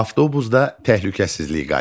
Avtobusda təhlükəsizlik qaydaları.